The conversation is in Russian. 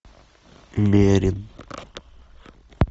мерин